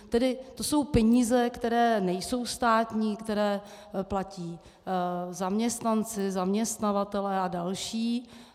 Tedy to jsou peníze, které nejsou státní, které platí zaměstnanci, zaměstnavatelé a další.